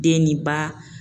Den ni ba